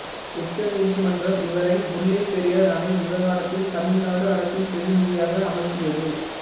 உச்ச நீதிமன்றம் இவரை முல்லைப் பெரியாறு அணை விவகாரத்தில் தமிழ் நாடு அரசின் பிரதிநிதியாக அமர்த்தியது